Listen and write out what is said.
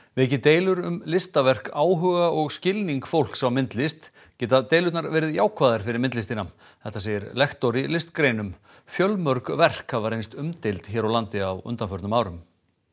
veki deilur um listaverk áhuga og skilning fólks á myndlist geta deilurnar verið jákvæðar fyrir myndlistina þetta segir lektor í listgreinum fjölmörg verk hafa reynst umdeild hér á landi á undanförnum árum